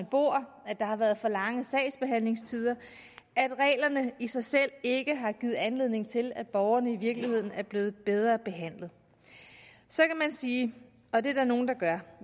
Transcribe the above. bor at der har været for lange sagsbehandlingstider at reglerne i sig selv ikke har givet anledning til at borgerne i virkeligheden er blevet bedre behandlet så kan man sige og det er der nogle der gør